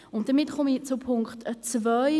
Damit komme ich zu Punkt 2.